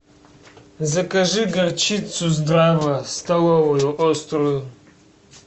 закажи горчицу здрава столовую острую